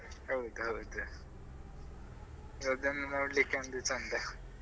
ಹೌದೌದು ಅದನ್ನು ನೋಡ್ಲಿಕ್ಕೆ ಒಂದು ಚೆಂದ.